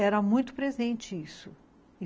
Era muito presente isso.